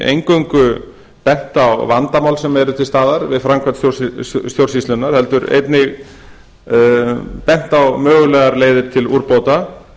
eingöngu bent á vandamál sem eru til staðar við framkvæmd stjórnsýslunnar heldur einnig bent á mögulegar leiðir til úrbóta